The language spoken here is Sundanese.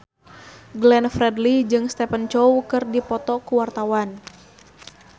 Glenn Fredly jeung Stephen Chow keur dipoto ku wartawan